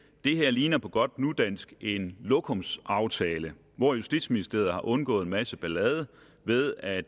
det her ligner på godt nudansk en lokumsaftale hvor justitsministeriet har undgået en masse ballade ved at